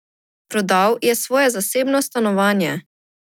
Prodal je svoje zasebno stanovanje.